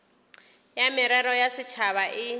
ya merero ya setšhaba e